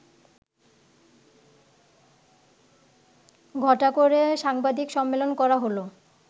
ঘটা করে সাংবাদিক সম্মেলন করা হলো